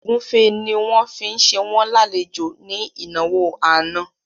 Ògúnfe ni wọ́n fi ṣe wọ́n lálejò ní ìnáwó àná